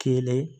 Kelen